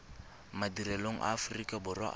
madirelong a aforika borwa a